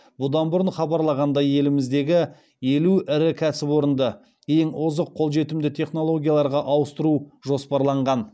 бұдан бұрын хабарлағандай еліміздегі елу ірі кәсіпорынды ең озық қолжетімді технологияларға ауыстыру жоспарланған